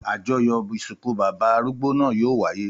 Àjọyọ̀ ìsìnkú bàbá arúgbó náà yóò wáyé.